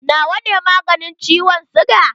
Na wa ne maganin ciwon siga?